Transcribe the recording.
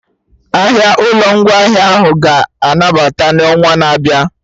Ahịa ụlọ ngwaahịa ahụ ga-anabata n'onwa na-abịa